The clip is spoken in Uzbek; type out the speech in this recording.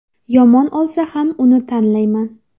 Yomon olsa ham uni tanlayman.